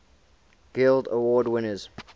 guild award winners